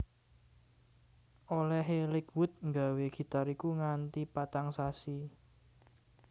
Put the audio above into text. Olèhé Lakewood nggawé gitar iku nganti patang sasi